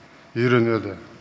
үйренеді